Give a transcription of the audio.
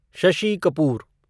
Shashi Kapoor